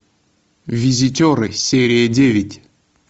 визитеры серия девять